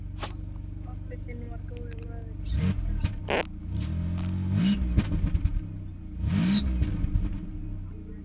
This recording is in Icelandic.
Pabbi þinn var góður maður, segir presturinn.